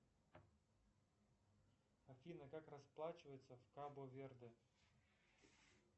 афина как расплачиваться кабо верде